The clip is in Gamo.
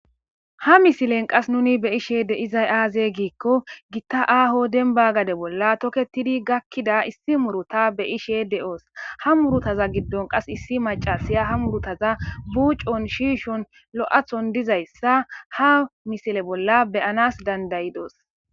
Ha misilen qas nuni beyishe de izay aaze giikko gitta aaho denba gade bolla toketidi gakkida issi muruta beyishe de7oos ha murutaza giddon qas issi macasiya ha murutaza buucon shiishon lo7athon dizayssa ha misile bolla beyanas dandayidoos